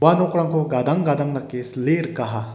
gadang gadang dake sile rikaha.